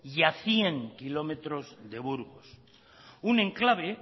y a cien kilómetros de burgos un enclave